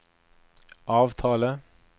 avtale